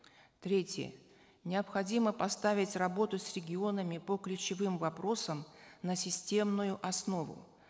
третье необходимо поставить работу с регионами по ключевым вопросам на системную основу